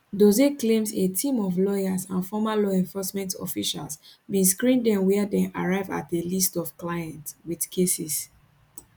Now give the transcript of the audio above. dose claims a team of lawyers and former law enforcement officials bin screen dem wia dem arrive at a list of clients wit cases